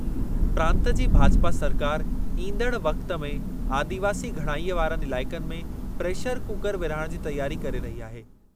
प्रांत जी भाजपा सरकारि ईंदड़ वक़्ति में आदिवासी घणाईअ वारनि इलाइक़नि में प्रेशर कुकर विरहाइण जी तयारी करे रही आहे।